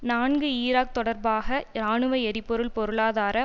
நான்கு ஈராக் தொடர்பாக இராணுவ எரிபொருள் பொருளாதார